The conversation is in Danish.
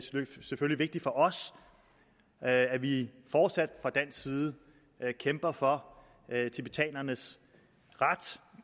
vigtigt for os at vi fortsat fra dansk side kæmper for tibetanernes ret